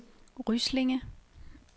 Ryslinge